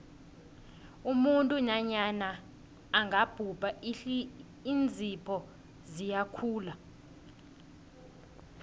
umuntu nanyana angabhubha iinzipho ziyakhula